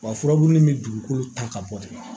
Wa furabulu min bɛ dugukolo ta ka bɔ de